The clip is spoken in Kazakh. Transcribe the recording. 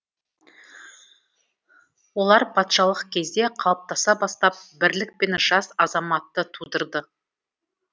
олар патшалық кезде қалыптаса бастап бірлік пен жас азаматты тудырды